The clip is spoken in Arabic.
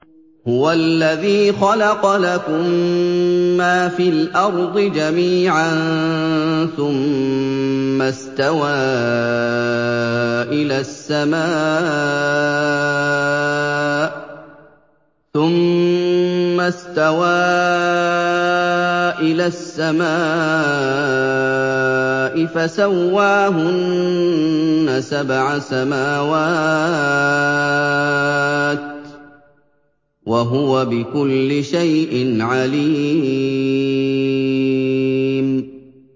هُوَ الَّذِي خَلَقَ لَكُم مَّا فِي الْأَرْضِ جَمِيعًا ثُمَّ اسْتَوَىٰ إِلَى السَّمَاءِ فَسَوَّاهُنَّ سَبْعَ سَمَاوَاتٍ ۚ وَهُوَ بِكُلِّ شَيْءٍ عَلِيمٌ